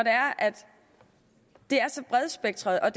det er så bredspektret og